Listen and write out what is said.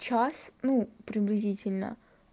час ну приблизительно